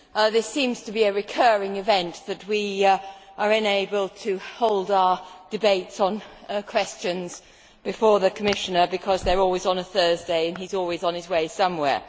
It seems to be a recurring event that we are unable to hold our debates on questions before the Commissioner, because they are always on a Thursday, and he is always on his way somewhere.